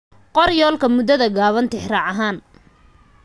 Qor yoolalka muddada gaaban tixraac ahaan.